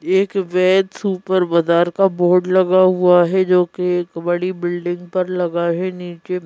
एक वैद सुपरबाजार का बोर्ड लगा हुआ है जो कि एक बड़ी बिल्डिंग पर लगा है नीचे--